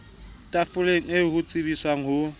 tafoleng eo ho tsebiswang ho